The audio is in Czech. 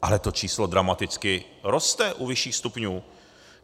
Ale to číslo dramaticky roste u vyšších stupňů.